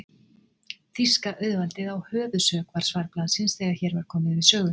Þýska auðvaldið á höfuðsök, var svar blaðsins, þegar hér var komið sögu.